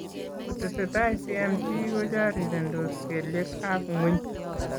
Kotesetai CMT kochorirendos kelyek ab ng'weny